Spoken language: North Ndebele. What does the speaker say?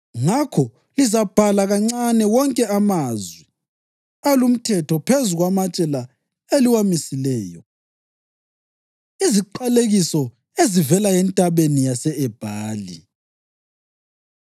Ngakho lizabhala kancane wonke amazwi alumthetho phezu kwamatshe la eliwamisileyo.” Iziqalekiso Ezivela eNtabeni Yase-Ebhali